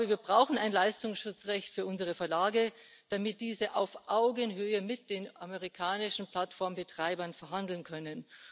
Wir brauchen ein Leistungsschutzrecht für unsere Verlage, damit diese auf Augenhöhe mit den amerikanischen Plattformbetreibern verhandeln können.